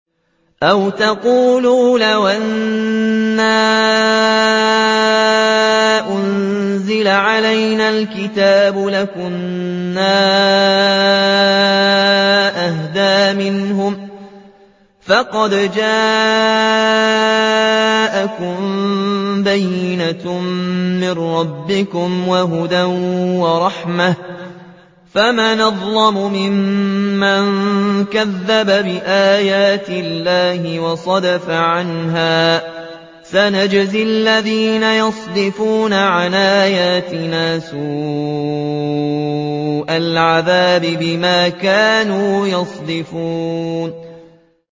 أَوْ تَقُولُوا لَوْ أَنَّا أُنزِلَ عَلَيْنَا الْكِتَابُ لَكُنَّا أَهْدَىٰ مِنْهُمْ ۚ فَقَدْ جَاءَكُم بَيِّنَةٌ مِّن رَّبِّكُمْ وَهُدًى وَرَحْمَةٌ ۚ فَمَنْ أَظْلَمُ مِمَّن كَذَّبَ بِآيَاتِ اللَّهِ وَصَدَفَ عَنْهَا ۗ سَنَجْزِي الَّذِينَ يَصْدِفُونَ عَنْ آيَاتِنَا سُوءَ الْعَذَابِ بِمَا كَانُوا يَصْدِفُونَ